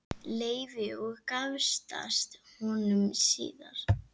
Leifi og giftast honum síðar.